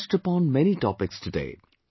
we touched upon many topics today